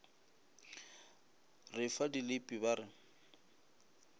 re fa dilipi ba re